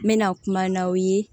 N mɛna kuma n'aw ye